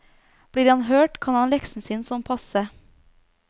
Blir han hørt, kan han leksen sin sånn passe.